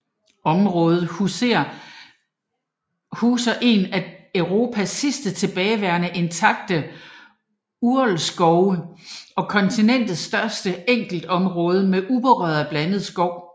Området huser en af Europas sidste tilbageværende intakte urlskovee og kontinentets største enkeltområde med uberørt blandet skov